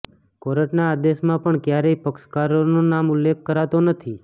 કોર્ટના આદેશમાં પણ ક્યારેય પક્ષકારોના નામનો ઉલ્લેખ કરાતો નથી